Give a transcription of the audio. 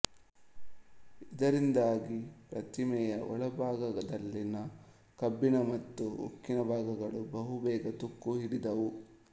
ಇದರಿಂದಾಗಿ ಪ್ರತಿಮೆಯ ಒಳಭಾಗದಲ್ಲಿನ ಕಬ್ಬಿಣ ಮತ್ತು ಉಕ್ಕಿನ ಭಾಗಗಳು ಬಹು ಬೇಗ ತುಕ್ಕು ಹಿಡಿದವು